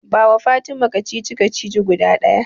Bawa Fatima kacici-kacici guda ɗaya.